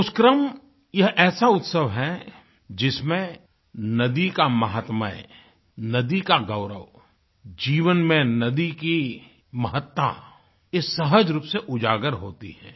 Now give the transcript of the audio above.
पुष्करम यह ऐसा उत्सव है जिसमें नदी का मह्त्मय नदी का गौरव जीवन में नदी की महत्ता एक सहज रूप से उजागर होती है